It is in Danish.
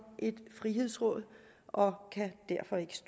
et frihedsråd og